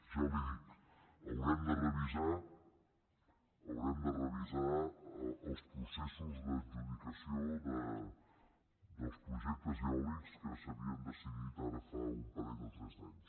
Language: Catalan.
ja li dic haurem de revisar els processos d’adjudicació dels projectes eòlics que s’havien decidit ara fa un parell o tres d’anys